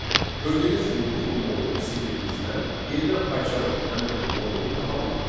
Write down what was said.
Gördüyünüz kimi biz bu modulu sildiyimizdən yenidən PyCharm həmin bu modulu tapa bilmir.